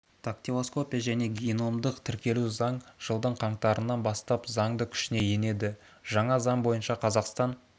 дактилоскопия және геномдық тіркеу туралы заң жылдың қаңтарынан бастап заңды күшіне енеді жаңа заң бойынша қазақстан